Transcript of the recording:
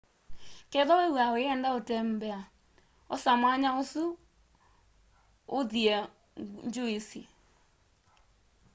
kethwa wiiw'a uyenda utembea osa mwanya usu uthie ngyuisi